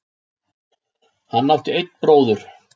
Hann átti einn bróður.